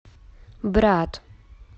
брат